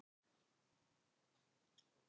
Dalí, hvernig verður veðrið á morgun?